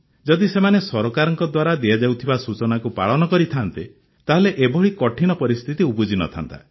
ଯଦି ସେମାନେ ସରକାରଙ୍କ ଦ୍ୱାରା ଦିଆଯାଉଥିବା ସୂଚନାକୁ ପାଳନ କରିଥାନ୍ତେ ତାହେଲେ ଏଭଳି କଠିନ ପରିସ୍ଥିତି ଉପୁଜି ନ ଥାନ୍ତା